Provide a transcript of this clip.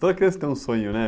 Toda criança tem um sonho, né?